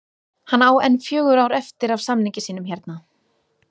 Hann á enn fjögur ár eftir af samningi sínum hérna